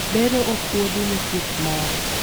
bero opuodhi ne thieth mare